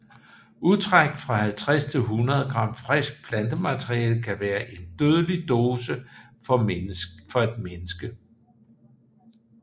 Udtræk fra 50 til 100 g friskt plantemateriale kan være en dødelig dose for et menneske